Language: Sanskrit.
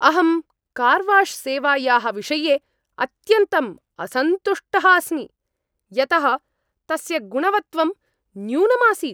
अहं कार्वाश्सेवायाः विषये अत्यन्तं असन्तुष्टः अस्मि, यतः तस्य गुणवत्वं न्यूनम् आसीत्।